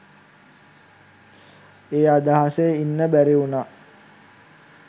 ඒ අදහසේ ඉන්න බැරිවුනා.